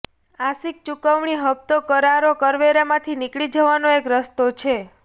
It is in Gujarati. આંશિક ચુકવણી હપતો કરારો કરવેરામાંથી નીકળી જવાનો એક રસ્તો છે